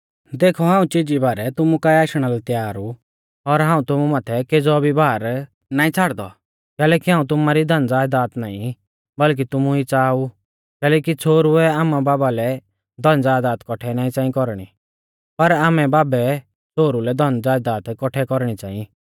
देखौ हाऊं चीजी बारै तुमु काऐ आशणा लै तैयार ऊ और हाऊं तुमु माथै केज़ौ भी भार नाईं छ़ाड़दौ कैलैकि हाऊं तुमारी धनज़यदाद नाईं बल्कि तुमु ई च़ाहा ऊ कैलैकि छ़ोहरुऐ आमाबाबा लै धनज़यदाद कौठै नाईं च़ांईं कौरणी पर आमैबाबै छ़ोहरु लै धनज़यदाद कौठै कौरणी च़ांई